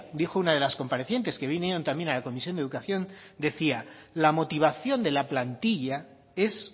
dijo una de las comparecientes que vinieron también a la comisión de educación decía la motivación de la plantilla es